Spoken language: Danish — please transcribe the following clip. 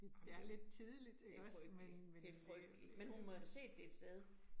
Ej men er det frygteligt, det frygteligt, men hun må jo have set det et sted